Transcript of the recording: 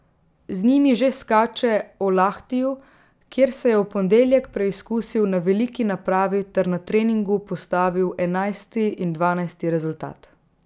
Z njimi že skače v Lahtiju, kjer se je v ponedeljek preizkusil na veliki napravi ter na treningu postavil enajsti in dvanajsti rezultat.